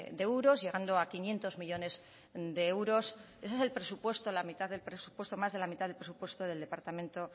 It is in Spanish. de euros llegando a quinientos millónes de euros ese es el presupuesto la mitad del presupuesto más de la mitad del presupuesto del departamento